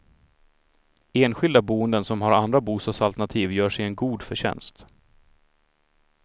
Enskilda boenden som har andra bostadsalternativ gör sig en god förtjänst.